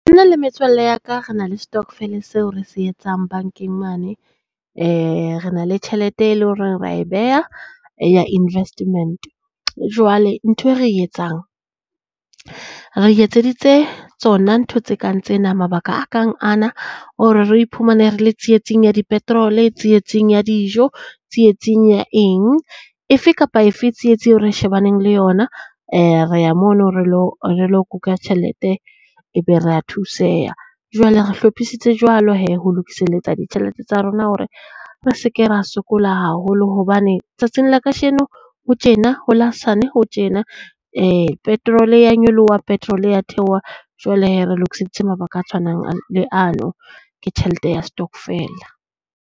Nna le metswalle ya ka re na le stokvel-e seo re se etsang bankeng mane. Re na le tjhelete e leng hore rea e beha e ya investment. Jwale ntho e re etsang, re iketseditse tsona ntho tse kang tsena mabaka a kang ana, hore re iphumane re le tsietsing ya di petrol-e, tsietsing ya dijo tsietsing ya eng, efe kapa efe tsietsi eo re shebaneng le yona rea mono re lo re lo kuka tjhelete ebe rea thuseha. Jwale re hlophisitse jwalo hee ho lokisaletsa ditjhelete tsa rona hore re se ke ra sokola haholo hobane tsatsing la kasheno ho tjena, ho la hosane ho tjena. Petrol-e ya nyoloha, petrole ya theoha. Jwale hee re lokiseditse mabaka a tshwanang le ano ke tjhelete ya stokvel-a.